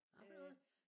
Hva for noget?